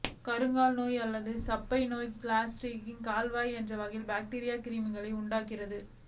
கருங்கால் நோய் அல்லது சப்பை நோய் கிளாஸ்டிரிடியம் காவாய் என்ற வகை பாக்டீரியா கிருமிகளினால் உண்டாகிறது